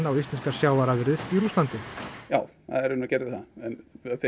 íslenskar sjávarafurðir í Rússlandi já það raunar gerði það en